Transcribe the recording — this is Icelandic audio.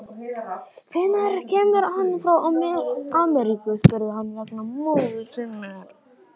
Hvenær kemur hann frá Ameríku, spurði hann vegna móður sinnar.